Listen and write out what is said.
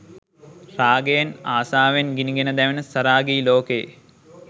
රාගයෙන්, ආශාවෙන් ගිනිගෙන දැවෙන සරාගී ලෝකයේ